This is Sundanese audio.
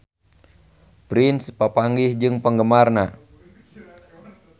Prince papanggih jeung penggemarna